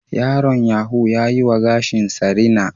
Yaron yaho ya yi wa gashinsa rina